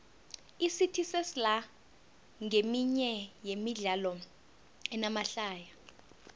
icity sesla nqeminye yemidlalo enamahlaya